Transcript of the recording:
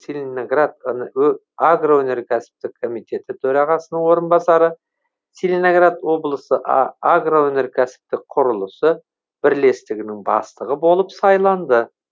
целиноград агроөнеркәсіптік комитеті төрағасының орынбасары целиноград облысы агроөнеркәсіптік құрылысы бірлестігінің бастығы болып сайланды